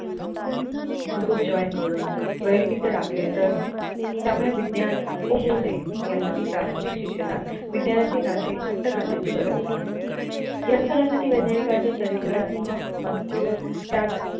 group join करून वैविध्य राखले तर त्यामुळे विज्ञान ठप्प होऊ नये यासाठी प्राथमिक शिक्षणात विज्ञानाचे नाते घट्ट करण्याची गरज आहे या स्थरासाठी वैद्यनानिकानी चरित्रात्मक मजकूर त्यात